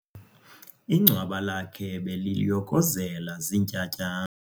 Ingcwaba lakhe beliyokozela ziintyatyambo.